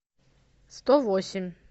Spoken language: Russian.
сто восемь